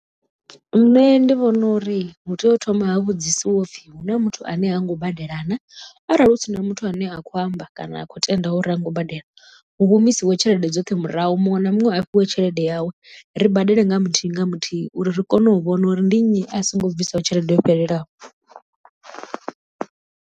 Nṋe ndi vhona uri hu tea u thoma ha vhudzisiwa upfhi hu na muthu ane ha ngo badela na arali hu si na muthu ane a kho amba kana a khou tendaho uri ha ngo u badela hu humisiwe tshelede dzoṱhe murahu muṅwe na muṅwe a fhiwe tshelede yawe ri badele nga muthihi nga muthihi uri ri kone u vhona uri ndi nnyi a songo bvisaho tshelede yo fhelelaho.